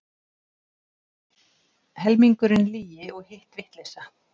Helmingurinn lygi og hitt vitleysa.